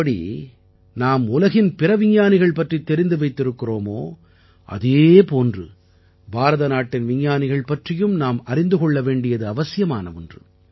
எப்படி நாம் உலகின் பிற விஞ்ஞானிகள் பற்றித் தெரிந்து வைத்திருக்கிறோமோ அதே போன்று பாரதநாட்டின் விஞ்ஞானிகள் பற்றியும் நாம் அறிந்து கொள்ள வேண்டியது அவசியமான ஒன்று